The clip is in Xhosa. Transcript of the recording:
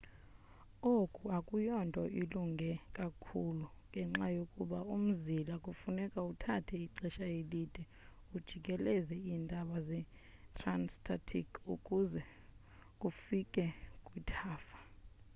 oku akuyonto ilunge kakhulu ngenxa yokuba umzila kufuneka uthathe ixesha elide ujikeleze iintaba zetransantarctic ukuze ufike kwithafa